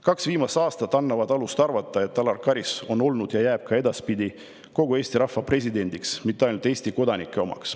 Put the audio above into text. Kaks viimast aastat annavad alust arvata, et Alar Karis on olnud ja jääb ka edaspidi kogu Eesti rahva presidendiks, mitte ainult Eesti kodanike omaks.